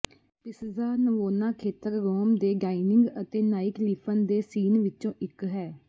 Piazza Navona ਖੇਤਰ Rome ਦੇ dining ਅਤੇ ਨਾਈਟਲਿਫ਼ਨ ਦੇ ਸੀਨ ਵਿੱਚੋਂ ਇੱਕ ਹੈ